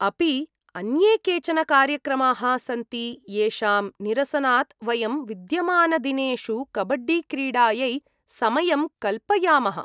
अपि अन्ये केचन कार्यक्रमाः सन्ति येषां निरसनात् वयं विद्यमानदिनेषु कबड्डीक्रीडायै समयं कल्पयामः?